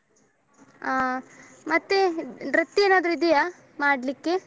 ಆ ಮತ್ತೆ ನೃತ್ಯ ಏನಾದ್ರು ಇದಿಯಾ ಮಾಡ್ಲಿಕ್ಕೆ?